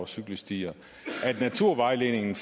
cykelstier at naturvejledningen